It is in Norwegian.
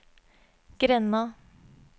grenda